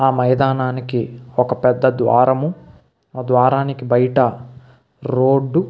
ఆ మైదానానికి ఒక పెద్ద ద్వారము ఆ ద్వారము బయట రోడ్డు .